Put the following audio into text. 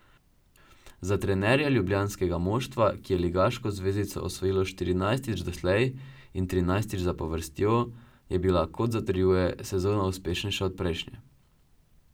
Za trenerja ljubljanskega moštva, ki je ligaško zvezdico osvojilo štirinajstič doslej in trinajstič zapovrstjo, je bila, kot zatrjuje, sezona uspešnejša od prejšnje.